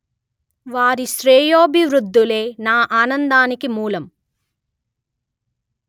వారి శ్రేయోభివృద్ధులే నా ఆనందానికి మూలం